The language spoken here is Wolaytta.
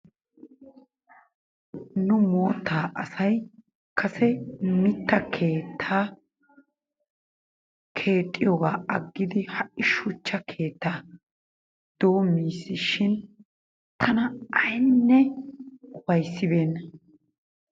Nu moottaa asay kase mitta keettaa keexxiyoogaa aggidi ha"i shuchcha keettaa doommisishin tana aynne ufayssibeenna.